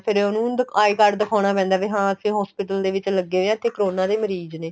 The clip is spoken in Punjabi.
ਫੇਰ ਉਹਨੂੰ I CARD ਦਿਖਾਣਾ ਪੈਂਦਾ ਵੀ ਹਾਂ ਕੇ hospital ਦੇ ਵਿੱਚ ਲਗੇ ਹੋਏ ਆ ਤੇ ਕਰੋਨਾ ਦੇ ਮਰੀਜ ਨੇ